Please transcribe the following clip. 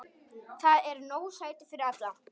Þar eru nóg sæti fyrir alla.